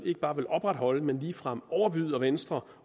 ikke bare vil opretholde man vil ligefrem overbyde venstre